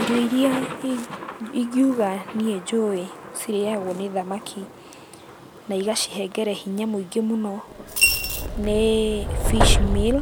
Irio iria ingĩuga niĩ njũĩ cirĩagwo nĩ thamaki na igacihengere hinya mũingĩ mũno, nĩ Fish Meal.